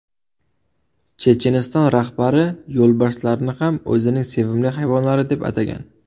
Checheniston rahbari yo‘lbarslarni ham o‘zining sevimli hayvonlari deb atagan.